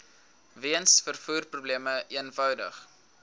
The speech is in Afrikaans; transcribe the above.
weens vervoerprobleme eenvoudig